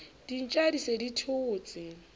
dintja di se di thotse